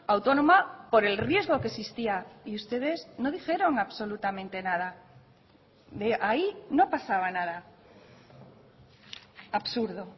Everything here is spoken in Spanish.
autónoma por el riesgo que existía y ustedes no dijeron absolutamente nada ahí no pasaba nada absurdo